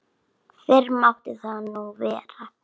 Fyrr mátti nú vera!